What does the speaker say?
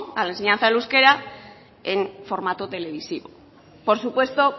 a la enseñanza del euskera en formato televisivo por supuesto